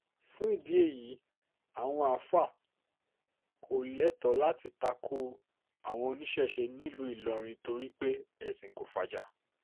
fún ìdí èyí àwọn àáfàá kò lẹ́tọ́ láti ta ko àwọn oníṣẹ́ṣe nílùú ìlọrin torí pé um ẹ̀sìn kò fàjà